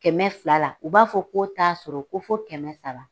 Kɛmɛ fila la, u b'a fɔ ko t'a sɔrɔ, ko fɔ kɛmɛ saba.